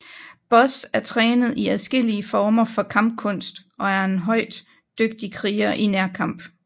Buzz er trænet i adskillige former for kampkunst og er en højt dygtig kriger i nærkamp